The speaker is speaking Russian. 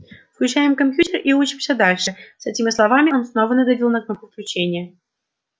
включаем компьютер и учимся дальше с этими словами он снова надавил на кнопку включения